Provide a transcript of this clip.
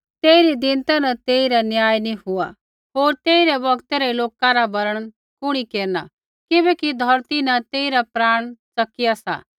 तेइरी दीनता न तेइरा न्याय नी हुआ होर तेइरै बौगतै रै लोका रा वर्णन कुणी केरना किबैकि धौरती न तेइरा प्राण च़किआ सा